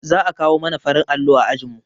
Za a kawo mana farin allo a ajinmu